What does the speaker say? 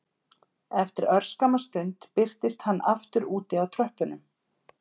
Eftir örskamma stund birtist hann aftur úti á tröppunum